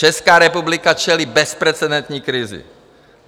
Česká republika čelí bezprecedentní krizi.